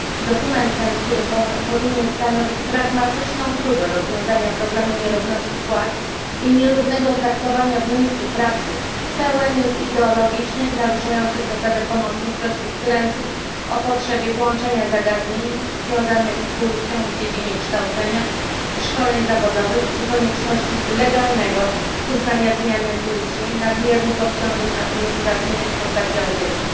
Dokument ten, który powinien stanowić pragmatyczną próbę rozwiązania problemu nierówności płac i nierównego traktowania w miejscu pracy, pełen jest ideologicznych, naruszających zasadę pomocniczości wtrętów o potrzebie włączenia zagadnień związanych z płcią w dziedzinie kształcenia i szkoleń zawodowych czy konieczności legalnego uznania zmiany płci, nadmiernych obciążeń administracyjnych w postaci audytów.